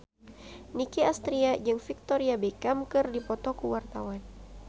Nicky Astria jeung Victoria Beckham keur dipoto ku wartawan